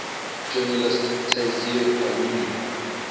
journalist tayseer allouni